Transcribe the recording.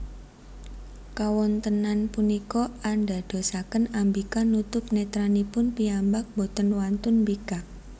Kawontenan punika andadosaken Ambika nutup netranipun piyambak boten wantun mbikak